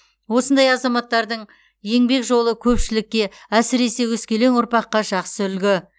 осындай азаматтардың еңбек жолы көпшілікке әсіресе өскелең ұрпаққа жақсы үлгі